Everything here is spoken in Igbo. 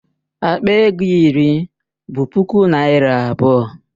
Akpa ego iri bụ puku naira abụọ.